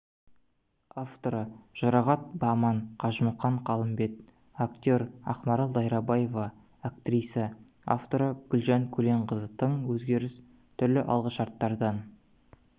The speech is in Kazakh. авторы жұрағат баман қажымұқан қалымбет актер ақмарал дайрабаева актриса авторы гүлжан көленқызы тың өзгеріс түрлі алғышарттардан